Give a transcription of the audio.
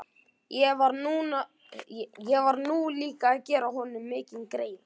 Ég var nú líka að gera honum mikinn greiða.